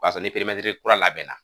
O y'a sɔrɔ ni kura labɛnna.